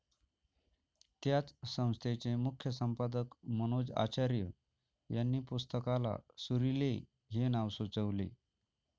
त्याच संस्थेचे मुख्यसंपादक मनोज आचार्य यांनी पुस्तकाला 'सुरीले' हे नाव सुचवले